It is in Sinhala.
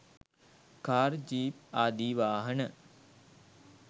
කාර් ජීප් ආදී වාහන